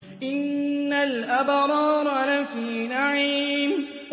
إِنَّ الْأَبْرَارَ لَفِي نَعِيمٍ